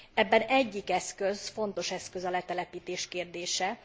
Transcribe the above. Ebben egyik fontos eszköz a letelepítés kérdése.